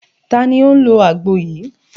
Ta ni ó ń lo àgbo yìí?